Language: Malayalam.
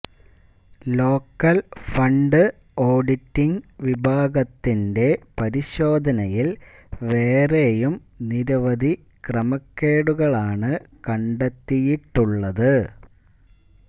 ലോക്കൽ ഫണ്ട് ഓഡിറ്റിംങ് വിഭാഗത്തിന്റെ പരിശോധനയിൽ വേറെയും നിരവധ ക്രമക്കേടുകളാണ് കണ്ടെത്തിയിട്ടുള്ളത്